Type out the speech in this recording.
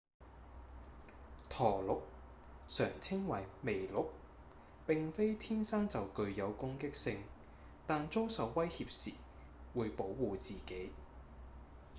駝鹿常稱為麋鹿並非天生就具有攻擊性但遭受威脅時會保護自己